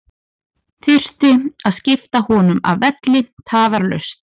Þurfti að skipta honum af velli tafarlaust.